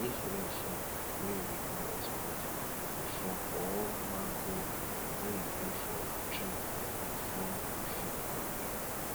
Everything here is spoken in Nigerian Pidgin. if rain fall wey we no expect e fall all mango wey dey for tree before we fit pack dem